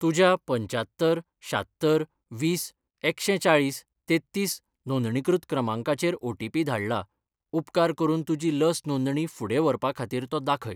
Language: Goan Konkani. तुज्या पंच्यात्तर शात्तर वीस एकशें चाळीस तेत्तीस नोंदणीकृत क्रमांकाचेर ओटीपी धाडला, उपकार करून तुजी लस नोंदणी फुडें व्हरपा खातीर तो दाखय.